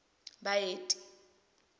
baeti